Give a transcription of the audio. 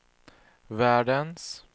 världens